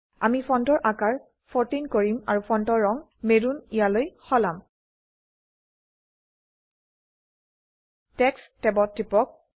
আমি ফন্টৰ আকাৰ 14 কৰিম আৰু ফন্টৰ ৰঙ মেৰুন ইয়ালৈ সলাম টেক্সট ট্যাবত টিপক